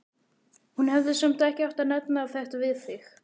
Hún hefði samt ekki átt að nefna þetta við þig.